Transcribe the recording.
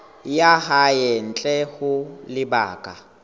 ya hae ntle ho lebaka